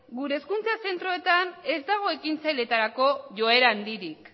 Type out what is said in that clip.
gure hezkuntza zentroetan ez dago ekintzailetarako joera handirik